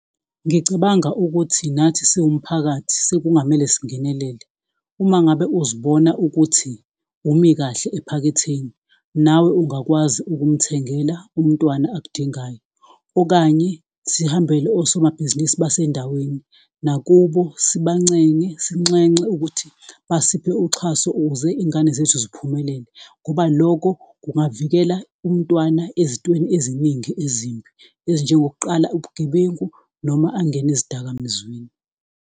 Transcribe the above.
Ngicabanga ukuthi nathi siwumphakathi sekungamele singenelela, uma ngabe uzibona ukuthi umi kahle ephaketheni nawe ungakwazi ukumthengela umntwana akudingayo, okanye sihambele osomabhizinisi basendaweni nakubo sibancenge, sinxenxa ukuthi basiphe uxhaso ukuze izingane zethu ziphumelele, ngoba loko kungavikela umntwana ezintweni eziningi ezimbi ezinjengokuqala ubugebengu noma angene ezidakamizweni.